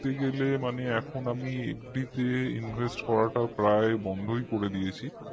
দেখতে গেলে এখন আমি মানে FD তে invest করাটা প্রায় বন্ধই করে দিয়েছি